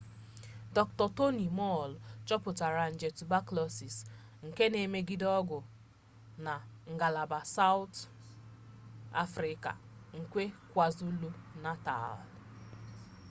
dr. toni moll chọpụtara nje tubakụlọsis xdr-tb nke na-emegide ọgwụ na ngalaba sawụt afrịka nke kwazulu-natal